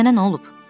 Sənə nə olub?